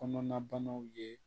Kɔnɔnabanaw ye